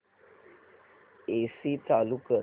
AC चालू कर